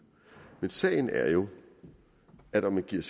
men sagen er jo at om man giver